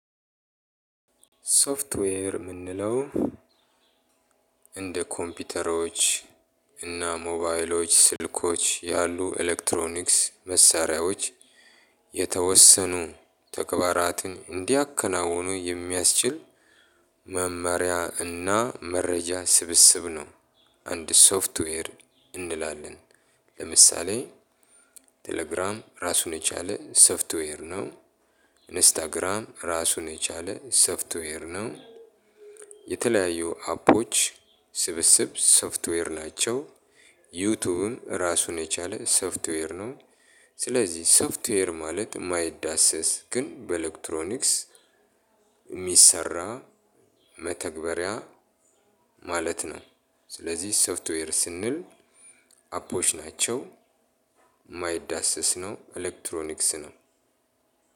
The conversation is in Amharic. ሶፍትዌር የምንለው እንደ ኮምፒውተሮች እና ሞባይሎች ስልኮች ያሉ ኤሌክትሮኒክስ መሳሪያዎች የተወሰኑ ተግባራትን እንዲያከናውኑ የሚያስችል መመሪያ እና መረጃ ስብስብ ነው። አንድ ሶፍትዌር እንላለን ለምሳሌ ቴሌግራም እራሱን የቻለ ሶፍትዌር ነው። ኢንስታግራም እራሱን የቻለ ሶፍትዌር ነው። የተለያዩ አፖች ስብስብ ሶፍትዌር ናቻው። ዩቱብም እራሱን የቻለ ሶፍትዌር ነው። ስለዚህ ሶፍትዌር ማለት የማይዳሰስ ግን በኤሌክትሮኒክስ የሚሰራ መተግበሪያ ማለት ነው። ስለዚህ ሶፍትዌር ስንል አፖች ናቸው። የማይዳሰስ ነው ኤሌክትሮኒክስ ነው